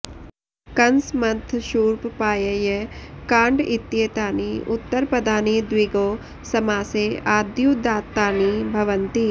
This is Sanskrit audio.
कंस मन्थ शूर्प पाय्य काण्ड इत्येतानि उत्तरपदानि द्विगौ समासे आद्युदात्तानि भवन्ति